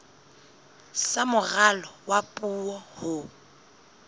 sa moralo wa puo ho